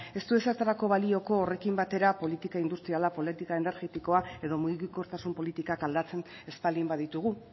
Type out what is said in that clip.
ez du ezertarako balioko horrekin batera politika industriala politika energetikoa edo mugikortasun politikak aldatzen ez baldin baditugu